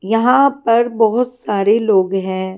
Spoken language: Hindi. यहाँ पर बहुत सारे लोग हैं।